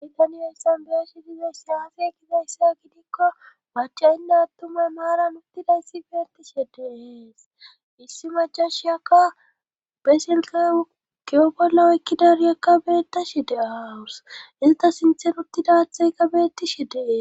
bytaniyoyssan beye shi dize saaafi e gizayssa gidikko macaynne attumay maaran uttidayssi beenti shhediees issi majashiyakka besilkeukeyo bollawekkidariekka beetta shi de aawus ista sinther uttida theykka beetti she dee